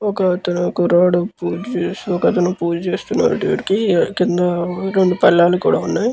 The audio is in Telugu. ఒక అతను కుర్రాడు పూజ చేస్తూ ఒక అతను పూజ చేస్తున్నాడు. ఈటికి కింద రెండు పల్లాలు కూడ ఉన్నాయి.